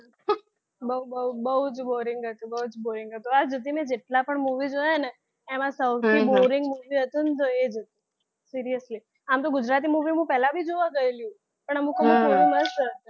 બહુ બહુ જ boring હતું બહુ જ boring હતું. આજ સુધી મેં જેટલા પણ movie જોયા ને તો એમાંથી સૌથી boring movie હતું ને તો એ જ હતું seriously આમ તો ગુજરાતી movie હું પહેલા પણ જોવા ગયેલી પણ અમુકમાં થોડું મસ્ત હતી.